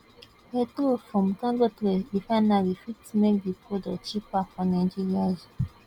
petrol from dangote refinery fit make di product cheaper for nigerians